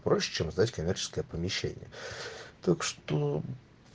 проще чем сдать коммерческое помещение так что